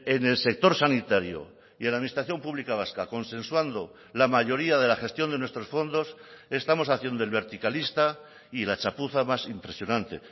en el sector sanitario y en la administración pública vasca consensuando la mayoría de la gestión de nuestros fondos estamos haciendo el verticalista y la chapuza más impresionante